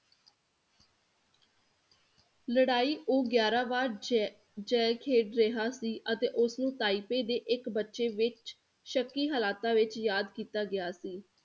ਲੜਾਈ ਉਹ ਗਿਆਰਾਂ ਵਾਰ ਜੈ ਜੈ ਖੇਡ ਰਿਹਾ ਸੀ ਅਤੇ ਉਸਨੂੰ ਤਾਇਪੇ ਦੇ ਇੱਕ ਬੱਚੇ ਵਿੱਚ ਸ਼ੱਕੀ ਹਾਲਾਤਾਂ ਵਿੱਚ ਯਾਦ ਕੀਤਾ ਗਿਆ ਸੀ।